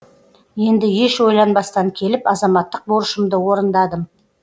енді еш ойланбастан келіп азаматтық борышымды орындадым